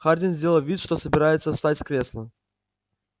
хардин сделал вид что собирается встать с кресла